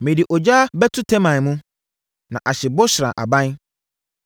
Mede ogya bɛto Teman mu, na ahye Bosra aban.”